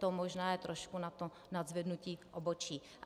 To je možná trošku na to nadzvednutí obočí.